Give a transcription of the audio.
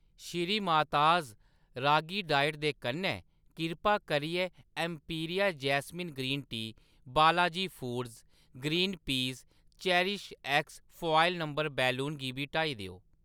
श्रीमाताज़ ragi diet दे कन्नै, किरपा करियै Emperia jasmine green tea, Balaji foods green pea ते चेरिशएक्स फॉयल नंबर बैलून गी बी हटाई देओ।